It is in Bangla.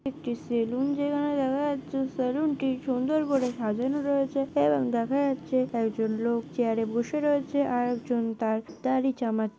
একটি সেলুন যেখানে দেখা যাচ্ছে সেলুন -টি সুন্দর করে সাজানো রয়েছে এবং দেখা যাচ্ছে। একজন লোক চেয়ার -এ বসে রয়েছে আর একজন তার দাড়ি চামাচ্ছে।